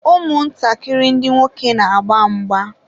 ụmụ ntakịrị ndị nwoke na-agba mgba.